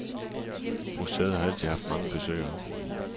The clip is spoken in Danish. Museet har altid haft mange besøgere.